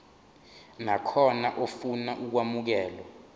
nakhona ofuna ukwamukelwa